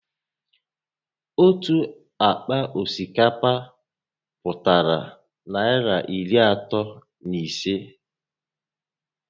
Otu àkpà osikapa pụtara Naịra iri asatọ na ịse